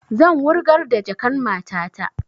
Zan wurgar da jakan matata